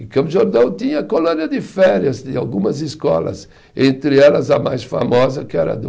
Em Campos do Jordão tinha colônia de férias, de algumas escolas, entre elas a mais famosa que era a do